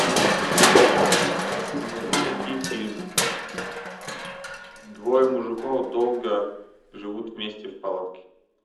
не могу найти фильм двое мужиков долго живут вместе в палатке